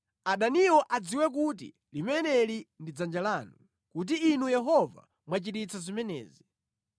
Adaniwo adziwe kuti limeneli ndi dzanja lanu, kuti Inu Yehova mwachita zimenezi.